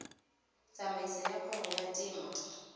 tsamaiso ya kgwebo ya temo